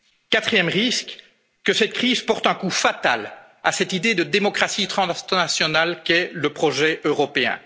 pandémie. Quatrième risque que cette crise porte un coup fatal à cette idée de démocratie transnationale qu'est le projet